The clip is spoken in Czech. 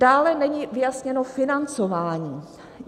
Dále není vyjasněno financování.